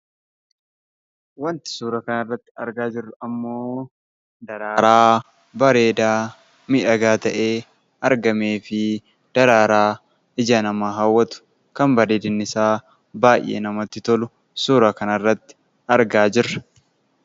Waanti suuraa kanarratti argaa jirru ammoo daraaraa bareedaa, miidhagaa ta'ee argamee fi daraaraa ija namaa hawwatu kan bareedinn isaa baay'ee namatti tolu suura kanarratti argaa jirra.